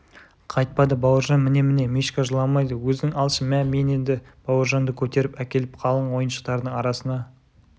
қайтпады бауыржан міне-міне мишка жыламайды өзің алшы мә мен енді бауыржанды көтеріп әкеліп қалың ойыншықтардың арасына